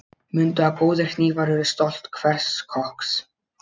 Mundu að góðir hnífar eru stolt hvers kokks.